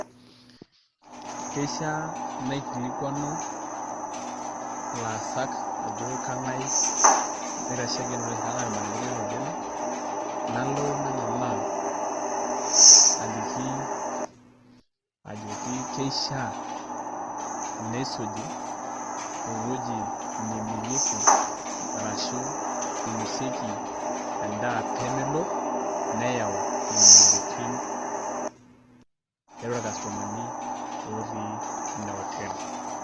Keisha naikilikuanu ilaasak ajo keng'ae loitasheki ? Kengae ormanajai lina hoteli, nalo nang'aama aliki ajoki keishaa neisuji eweji nemirieki arashu nainosieki edaa pemelo niyau imoyiaritin tiatua ircustomani otii ina hoteli.